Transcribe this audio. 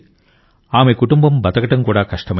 ఆమె కుటుంబం బతకడం కూడా కష్టమైంది